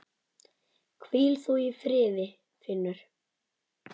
Hvíl þú í friði Finnur.